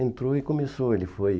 Entrou e começou. Ele foi